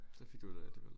Så fik du ud af alligevel